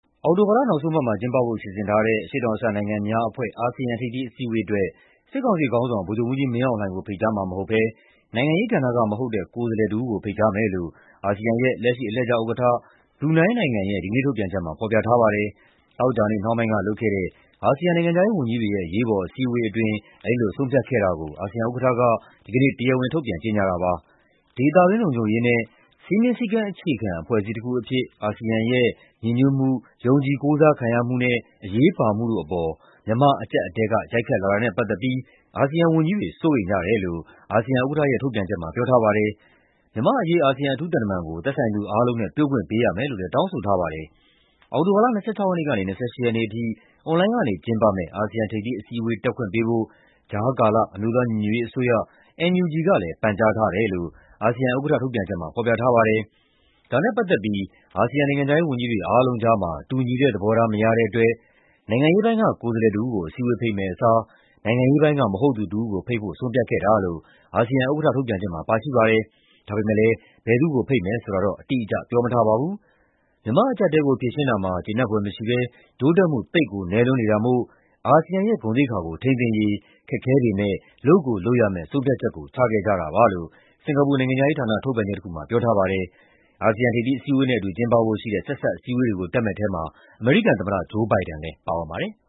အောက်တိုဘာလ နောက်ဆုံးပတ်မှာ ကျင်းပဖို့ စီစဉ်ထားတဲ့ အရှေ့တောင်အာရှ နိုင်ငံများအဖွဲ့ (ASEAN) ထိပ်သီးအစည်းအဝေးအတွက် စစ်ကောင်စီခေါင်းဆောင် ဗိုလ်ချုပ်မှူးကြီးမင်းအောင်လှိုင်ကို ဖိတ်ကြားမှာမဟုတ်ဘဲ နိုင်ငံရေးကဏ္ဍက မဟုတ်တဲ့ ကိုယ်စားလှယ်တဦးကို ဖိတ်ကြားမယ်လို့ အာဆီယံရဲ့ လက်ရှိ အလှည့်ကျဥက္ကဋ္ဌ ဘရူနိုင်းနိုင်ငံရဲ့ ဒီကနေ့ထုတ်ပြန်ချက်မှာ ဖော်ပြထားပါတယ်။ သောကြာနေ့နှောင်းပိုင်းက လုပ်တဲ့ အာဆီယံ နိုင်ငံခြားရေးဝန်ကြီးတွေရဲ့ အရေးပေါ် အစည်းအဝေးအတွင်း အဲဒီလို ဆုံးဖြတ်ခဲ့တာကို အာဆီယံဥက္ကဋ္ဌက ဒီကနေ့ တရားဝင် ထုတ်ပြန်ကြေညာတာပါ။ ဒေသတွင်း လုံခြုံရေးနဲ့ "စည်းမျဉ်းစည်းကမ်းအခြေခံ အဖွဲ့အစည်းတခုအဖြစ် အာဆီယံရဲ့ ညီညွတ်မှု၊ ယုံကြည်ကိုးစားခံရမှုနဲ့ အရေးပါမှုတို့" အပေါ် မြန်မာ့အကျပ်အတည်းက ရိုက်ခတ်လာတာနဲ့ ပတ်သက်ပြီး အာဆီယံဝန်ကြီးတွေ စိုးရိမ်ကြတယ်လို့ အာဆီယံဥက္ကဋ္ဌရဲ့ ထုတ်ပြန်ချက်မှာ ပြောထားပါတယ်။ မြန်မာ့အရေး အာဆီယံ အထူးသံတမန်ကို သက်ဆိုင်သူအားလုံးနဲ့ တွေ့ခွင့်ပေးရမယ်လို့လည်း တောင်းဆိုထားပါတယ်။ အောက်တိုဘာလ ၂၆ ရက်နေ့ကနေ ၂၈ ရက်နေ့အထိ အွန်လိုင်းကနေ ကျင်းပမယ့် အာဆီယံ ထိပ်သီးအစည်းအဝေး တက်ခွင့်ပေးဖို့ ကြားကာလ အမျိုးသားညီညွတ်ရေးအစိုးရ (NUG) ကလည်း ပန်ကြားထားတယ်လို့ အာဆီယံဥက္ကဋ္ဌ ထုတ်ပြန်ချက်မှာ ဖော်ပြထားပါတယ်။ ဒါနဲ့ပတ်သက်ပြီး အာဆီယံ နိုင်ငံခြားရေးဝန်ကြီးတွေ အားလုံးကြားမှာ တူညီတဲ့သဘောထား မရတဲ့အတွက် နိုင်ငံရေးပိုင်းက ကိုယ်စားလှယ်တဦးကို အစည်းအဝေး ဖိတ်မယ့်အစား နိုင်ငံရေးပိုင်းက မဟုတ်သူတဦးကို ဖိတ်ဖို့ ဆုံးဖြတ်ခဲ့တာလို့ အာဆီယံဥက္ကဋ္ဌ ထုတ်ပြန်ချက်မှာ ပါရှိပါတယ်။ ဒါပေမယ့် ဘယ်သူ့ကိုဖိတ်မယ် ဆိုတာတော့ အတိအကျ ပြောမထားပါဘူး။ မြန်မာ့အကျပ်အတည်းကို ဖြေရှင်းတာမှာ "ကျေနပ်ဖွယ်မရှိဘဲ တိုးတက်မှု သိပ်ကိုနည်းလွန်းနေတာမို့ အာဆီယံရဲ့ ဂုဏ်သိက္ခာကို ထိန်းသိမ်းရေး ခက်ခဲပေမယ့် လုပ်ကိုလုပ်ရမယ့် ဆုံးဖြတ်ချက်ကို ချခဲ့ကြတာပါ" လို့ စင်ကာပူ နိုင်ငံခြားရေးဌာန ထုတ်ပြန်ချက်တခုမှာ ပြောထားပါတယ်။ အာဆီယံ ထိပ်သီးအစည်းအဝေးနဲ့အတူ ကျင်းပဖို့ရှိတဲ့ ဆက်စပ်အစည်းအဝေးတွေကို တက်မယ့်ထဲမှာ အမေရိကန်သမ္မတ Joe Biden လည်း ပါဝင်ပါတယ်။